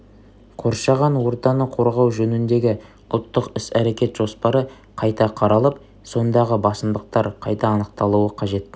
қоршаған ортаны қорғау жөніндегі ұлттық іс-әрекет жоспары қайта қаралып сондағы басымдықтар қайта анықталуы қажет